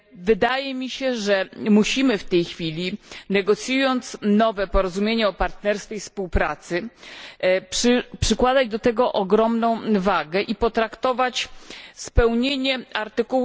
Wydaje mi się, że musimy w tej chwili, negocjując nowe porozumienie o partnerstwie i współpracy, przykładać do tego ogromną wagę i potraktować spełnienie art.